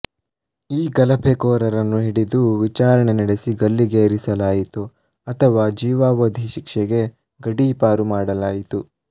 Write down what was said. ಈ ಗಲಭೆಕೋರರನ್ನು ಹಿಡಿದು ವಿಚಾರಣೆ ನಡೆಸಿ ಗಲ್ಲಿಗೇರಿಸಲಾಯಿತು ಅಥವಾ ಜೀವಾವಧಿ ಶಿಕ್ಷೆಗೆ ಗಡೀಪಾರು ಮಾಡಲಾಯಿತು